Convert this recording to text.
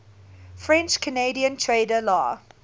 french canadian trader la